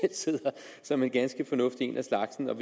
som er ganske fornuftig en af slagsen og